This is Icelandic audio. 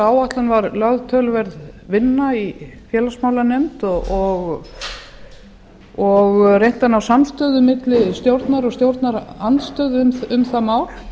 áætlun var lögð töluverð vinna í félagsmálanefnd og reynt að ná samstöðu milli stjórnar og stjórnarandstöðu um það mál